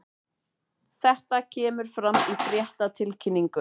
Þetta kemur fram í fréttatilkynningu